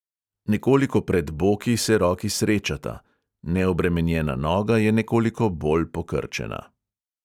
Nekoliko pred boki se roki srečata, neobremenjena noga je nekoliko bolj pokrčena.